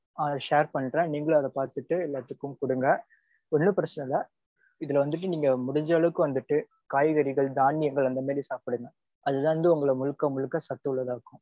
ஆஹ் share பண்றேன் நீங்களும் அத பாத்துட்டு எல்லத்துக்கும் கொடுங்க. ஒன்னும் பிரச்சினை இல்ல. இதுல வந்துட்டு நீங்க முடிஞ்ச அளவுக்கு வந்துட்டு காய்கறிகள் தானியங்கள் அந்த மாதிரி சாப்பிடுங்க அதுதா வந்து உங்கள முழுக்க முழுக்க சத்துள்ளதா ஆக்கும்.